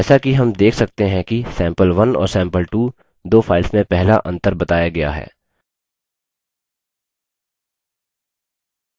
जैसा कि हम देख सकते हैं कि sample1 और sample2 दो files में पहला अंतर बताया गया है